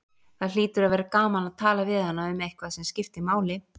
Það hlýtur að vera gaman að tala við hana um eitthvað sem skiptir máli.